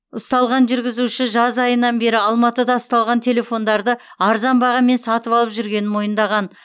ұсталған жүргізуші жаз айынан бері алматыда ұсталған телефондарды арзан бағамен сатып алып жүргенін мойындаған